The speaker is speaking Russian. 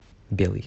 белый